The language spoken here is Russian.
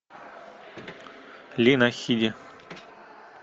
лина хиди